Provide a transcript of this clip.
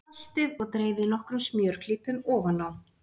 Saltið og dreifið nokkrum smjörklípum ofan á.